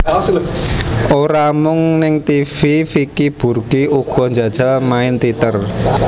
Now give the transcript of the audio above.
Ora mung ing tivi Vicky Burky uga njajal main téater